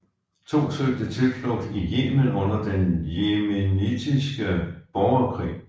To søgte tilflugt i Yemen under den yemenitiske borgerkrig